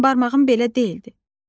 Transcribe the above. Dünən barmağım belə deyildi.